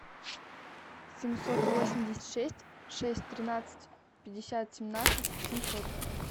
семьсот восемьдесят шесть шесть тринадцать пятьдесят семнадцать семьсот